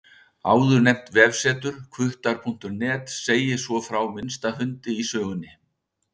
Áðurnefnt vefsetur, hvuttar.net, segir svo frá minnsta hundi í sögunni.